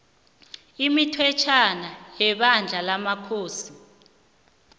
imithetjhwana yebandla lamakhosi